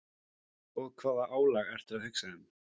Og hvaða álag ertu að hugsa um?